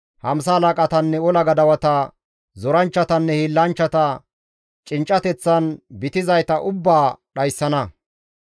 hamsa halaqatanne ola gadawata, zoranchchatanne hiillanchchata, cinccateththan bitizayta ubbaa dhayssana.